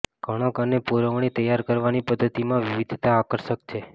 કણક અને પૂરવણી તૈયાર કરવાની પદ્ધતિમાં વિવિધતા આકર્ષક છે